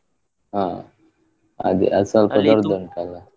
ಹ, ಅದೇ ಅದ್ ಸ್ವಲ್ಪ .